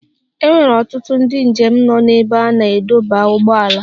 E nwere ọtụtụ ndị njem nọ n'ebe a na-adọba ụgbọala.